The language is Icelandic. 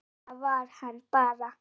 Svona var hann bara.